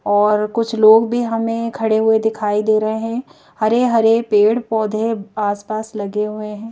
और कुछ लोग भी हमें खड़े हुए दिखाई दे रहे हैं हरे-हरे पेड़-पौधे आसपास लगे हुए हैं ।